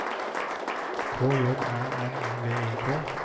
K J Æ R V I K